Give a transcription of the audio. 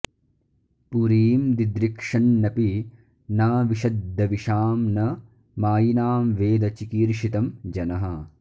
पुरीं दिदृक्षन्नपि नाविशद्द्विषां न मायिनां वेद चिकीर्षितं जनः